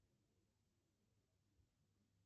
сбер включай канал тв три